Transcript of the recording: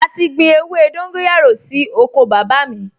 A ti gbin ewé dóńgóyárò sí oko bàbá mi